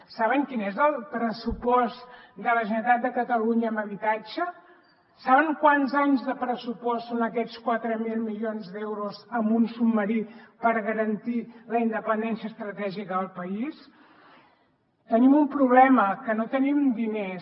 saben quin és el pressupost de la generalitat de catalunya en habitatge saben quants anys de pressupost són aquests quatre mil milions d’euros en un submarí per garantir la independència estratègica del país tenim un problema que no tenim diners